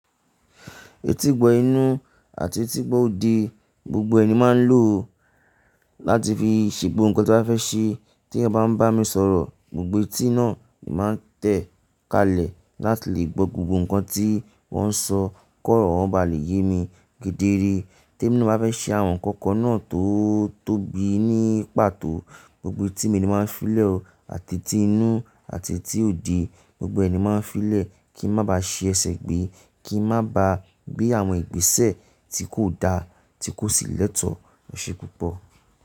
Etígbọ inú àti etígbọ òde gbogbo ẹ ni máa ń lò ó láti fi ṣè gbogbo nkan tí mo bá fẹ́ ṣe. Tí ẹeyan bá ń bá mi sọ̀rọ̀, gbogbo etí náà ni màá tẹ̀ kalẹ̀ láti lè gbọ́ gbogbo nnkan tí wọ́n ń sọ kó rọ̀ wọ́n bá lè yé mi kédéré. Tí èmi ná ba fẹ́ ṣe àwọn ǹkan kan náà tó tóbi ní pàtó, gbogbo etí mi ni màá fílẹ̀ ọ́ àti etí inú àti etí òde gbogbo ẹ ni máa ń fílẹ̀ kí n má ba ṣe ẹsẹ̀ gbé, kí n má ba gbé àwọn ìgbésẹ̀ tí kò da, tí kò sì lẹ́tọ̀ọ́. Esẹ́ púpọ̀